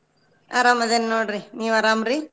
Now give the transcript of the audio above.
ಅರಾಮದೇನ್ ನೋಡ್ರಿ ನೀವ್ ಅರಾಮ್ರಿ?